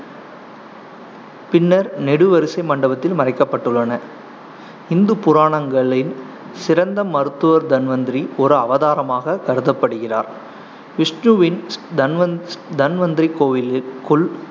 பின்னர் நெடுவரிசை மண்டபத்தில் மறைக்கப்பட்டுள்ளன இந்து புராணங்களின் சிறந்த மருத்துவர் தன்வந்திரி ஒரு அவதாரமாகக் கருதப்படுகிறார் விஷ்ணுவின் தன்வந்~ தன்வந்திரி கோவிலுக்குள்